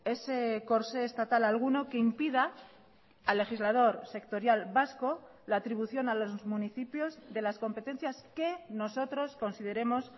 ese corsé estatal alguno que impida al legislador sectorial vasco la atribución a los municipios de las competencias que nosotros consideremos